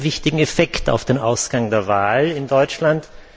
Das hat ja einen wichtigen Effekt auf den Ausgang der Wahl in Deutschland.